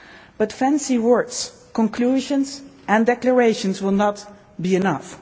choice. But fancy words, conclusions and declarations will not be